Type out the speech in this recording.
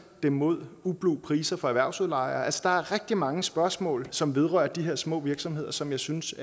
dem mod ublu priser fra erhvervsudlejere altså der er rigtig mange spørgsmål som vedrører de her små virksomheder som jeg synes